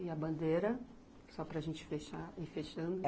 E a bandeira, só para a gente fechar, ir fechando?